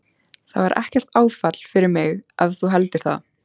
Það var ekkert áfall fyrir mig ef þú heldur það.